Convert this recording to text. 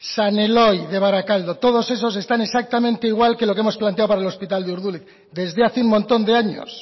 san eloy de barakaldo todos esos están exactamente igual que lo que hemos planteado para el hospital de urduliz desde hace un montón de años